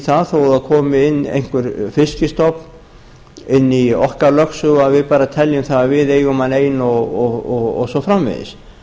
það þó að það komi inn einhver fiskstofn inn í okkar lögsögu að við bara teljum að við eigum hann ein og svo framvegis